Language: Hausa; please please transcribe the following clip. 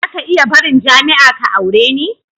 Zaka iya barin jami'a ka aure ni?